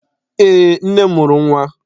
Eé, nne m mụrụ nnwa.